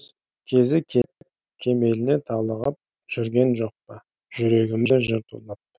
кезі келіп кемеліне толығып жүрген жокпа жүрегімде жыр тулап